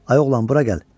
Ay oğlan, bura gəl.